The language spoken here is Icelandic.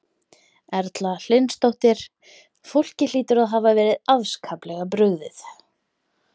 Erla Hlynsdóttir: Fólki hlýtur að hafa verið afskaplega brugðið?